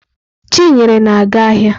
Chinyere na-aga ahịa.